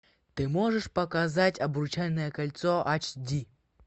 ты можешь показать обручальное кольцо аш ди